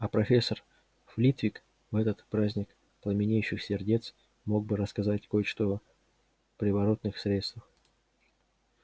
а профессор флитвик в этот праздник пламенеющих сердец мог бы рассказать кое-что приворотных средствах